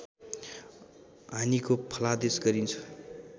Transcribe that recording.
हानिको फलादेश गरिन्छ